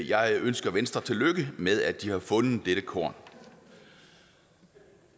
jeg ønsker venstre tillykke med at de har fundet dette korn